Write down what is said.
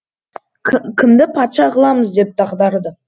кімді патша қыламыз деп дағдарды